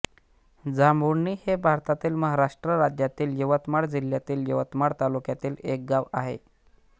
जांभुळणी हे भारतातील महाराष्ट्र राज्यातील यवतमाळ जिल्ह्यातील यवतमाळ तालुक्यातील एक गाव आहे